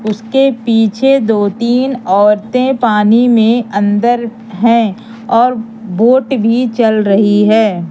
उसके पीछे दो तीन औरतें पानी में अंदर हैं और बोट भी चल रही है।